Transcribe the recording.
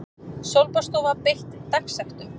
Sólbaðsstofa beitt dagsektum